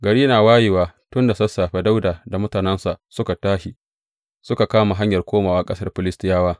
Gari na wayewa tun da sassafe Dawuda da mutanensa suka tashi suka kama hanyar komawa ƙasar Filistiyawa.